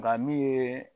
Nka min ye